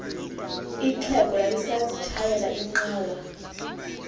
ixhego lalisazitshayela inqawa